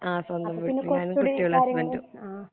അപ്പൊ പിന്നെ കുറച്ചുകൂടി കാര്യങ്ങളൊക്കെ ആ